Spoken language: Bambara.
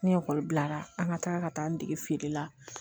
Ni ekɔli bilara an ka taa ka taa an dege feere la